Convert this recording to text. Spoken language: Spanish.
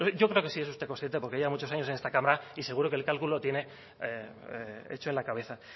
yo creo que sí es usted consciente porque lleva muchos años en esta cámara y seguro que el cálculo lo tiene hecho en la cabeza